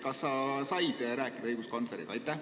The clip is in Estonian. Kas sa said rääkida õiguskantsleriga?